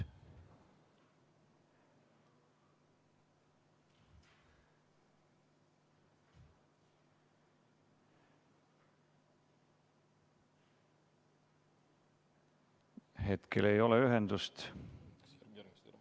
Hetkel ei ole ühendust vist.